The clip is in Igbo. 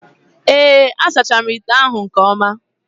Ee, a sachara m ite ahụ nke ọma